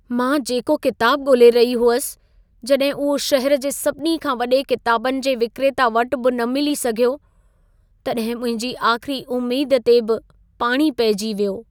मां जेको किताब ॻोल्हे रही हुअसि, जॾहिं उहो शहर जे सभिनी खां वॾे किताबनि जे विक्रेता वटि बि न मिली सघियो, तॾहिं मुंहिंजी आख़िरी उमेद ते बि पाणी पहिजी वियो।